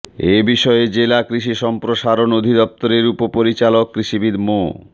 এ বিষয়ে জেলা কৃষি সম্প্রসারণ অধিদপ্তরের উপপরিচালক কৃষিবিদ মো